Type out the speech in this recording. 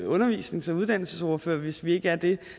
undervisnings og uddannelsesordfører hvis vi ikke er det